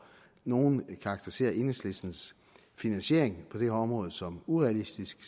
nogle karakteriserer enhedslistens finansiering på det her område som urealistisk